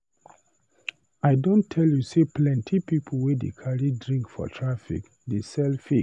I don tell you sey plenty pipu wey dey carry drink for traffic dey sell fake.